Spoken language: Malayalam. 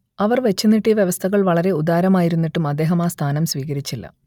അവർ വച്ചുനീട്ടിയ വ്യവസ്ഥകൾ വളരെ ഉദാരമായിരുന്നിട്ടും അദ്ദേഹം ആ സ്ഥാനം സ്വീകരിച്ചില്ല